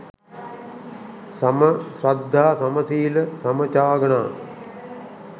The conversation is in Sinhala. සම ශ්‍රද්ධා, සමසීල, සමචාග හා